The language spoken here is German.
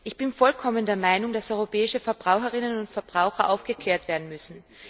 Ich bin vollkommen der Meinung, dass europäische Verbraucherinnen und Verbraucher aufgeklärt werden müssen.